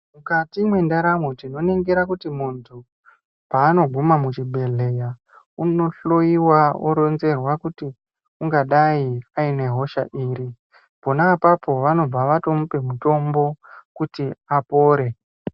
Mukati mwendaramo tinoningira kuti muntu paanoguma muchibhedhleya unohloiwa oronzerwa kuti ungadai aine hosha iri. Pona apapo vanobva vatomupa mutombo kuti apore.